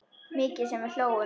Mikið sem við hlógum.